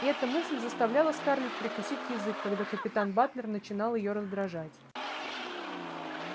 и эта мысль заставляла скарлетт прикусить язык когда капитан батлер начинал её раздражать